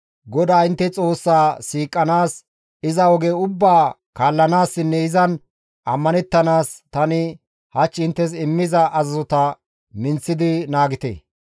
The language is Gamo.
GODAA intte Xoossaa siiqanaas, iza oge ubbaa kaallanaassinne izan ammanettanaas tani hach inttes immiza azazota minththidi naagite.